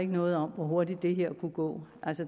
noget om hvor hurtigt det her kan gå